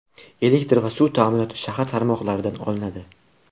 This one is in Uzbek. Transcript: Elektr va suv ta’minoti shahar tarmoqlaridan olinadi.